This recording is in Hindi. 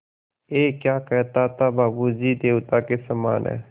ऐं क्या कहता था कि बाबू जी देवता के समान हैं